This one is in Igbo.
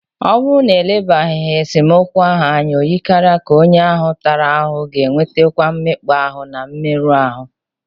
Ọ bụrụ na e lebaraghị esemokwu ahụ anya, o yikarịrị ka onye ahụ a tara ahụhụ ga-enwetakwu mmekpa ahụ na mmerụ ahụ.